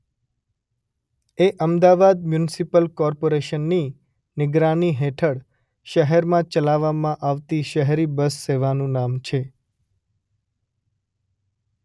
એ Ahmedabad municipal કોર્પોરેશનની નિગરાની હેઠળ શહેરમાં ચલાવવામાં આવતી શહેરી બસ સેવાનું નામ છે.